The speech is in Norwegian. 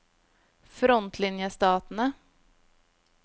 frontlinjestatene